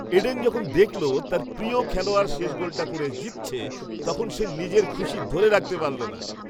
Eden যখন দেখল তার প্রিয় খেলোয়াড় শেষ গোলটা করে জিতছে, তখন সে নিজের খুশি ধরে রাখতে পারল না।